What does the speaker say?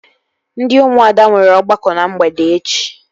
Ndị ụmụada nwere ọgbakọ na mgbede echi